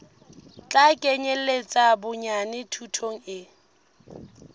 tla kenyeletsa bonyane thuto e